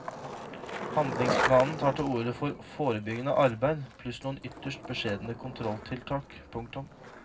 Handlingsplanen tar til orde for forebyggende arbeid pluss noen ytterst beskjedne kontrolltiltak. punktum